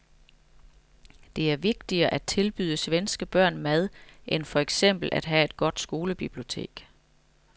Det er vigtigere at tilbyde svenske børn mad end for eksempel at have et godt skolebibliotek.